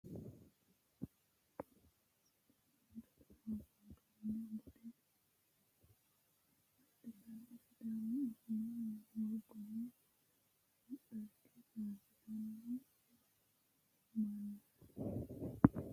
Tenne misile aana la'neemmohu kuri mannootu mitu amma'note mini faarsaano mitu sidaamu dagaha woganna bude agadhite sidaamu afii murgonna dhagge faarsitanno mannaati.